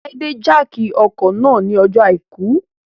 Láídè jákì ọkọ̀ náà ní ọjọ́ àìkú